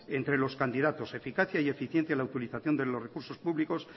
entre los candidatos eficacia y eficiencia en la utilización de los recursos públicos